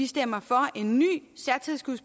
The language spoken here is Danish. stemme for en ny